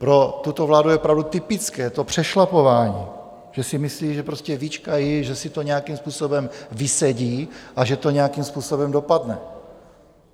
Pro tuto vládu je opravdu typické to přešlapování, že si myslí, že prostě vyčkají, že si to nějakým způsobem vysedí a že to nějakým způsobem dopadne.